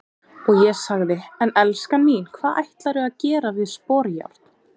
Og ég sagði:- En elskan mín, hvað ætlarðu að gera við sporjárn?